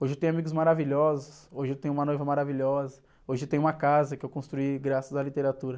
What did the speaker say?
Hoje eu tenho amigos maravilhosos, hoje eu tenho uma noiva maravilhosa, hoje eu tenho uma casa que eu construí graças à literatura.